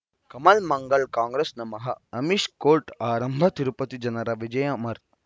ಕಮಲ್ ಮಂಗಳ್ ಕಾಂಗ್ರೆಸ್ ನಮಃ ಅಮಿಷ್ ಕೋರ್ಟ್ ಆರಂಭ ತಿರುಪತಿ ಜನರ ವಿಜಯ ಅಮರ್